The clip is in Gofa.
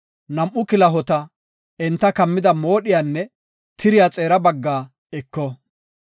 nam7u kilahota, enta kammida moodhiyanne tiriya xeera baggaa eko.